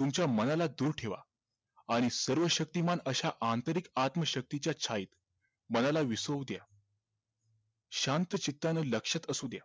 तुमच्या मनाला दूर ठेवा आणि सर्वशक्तिमान अश्या आंतरिक आत्मशक्तीच्या छायेत मनाला विसवू द्या शांत चित्तानं लक्षात असू द्या